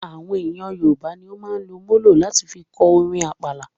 Àwọn ẹyà Yorùbá ní o máa ń lò molo láti fí kọ orin àpàlà